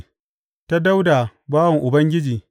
Ta Dawuda bawan Ubangiji.